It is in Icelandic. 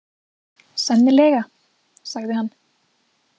Sennilega, sagði hann.